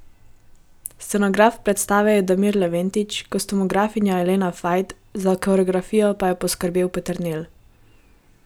Scenograf predstave je Damir Leventić, kostumografinja Elena Fajt, za koreografijo pa je poskrbel Peternelj.